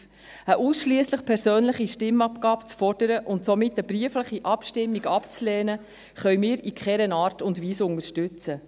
: Eine ausschliesslich persönliche Stimmabgabe zu fordern und somit eine briefliche Stimmabgabe abzulehnen, können wir in keiner Art und Weise unterstützen.